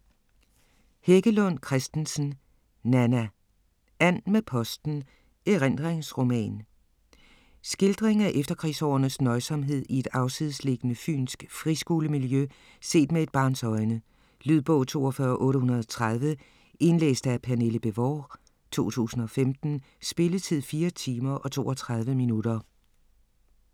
Heggelund Christensen, Nanna: And med posten: erindringsroman Skildring af efterkrigsårenes nøjsomhed i et afsidesliggende fynsk friskolemiljø set med et barns øjne. Lydbog 42830 Indlæst af Pernille Bévort, 2015. Spilletid: 4 timer, 32 minutter.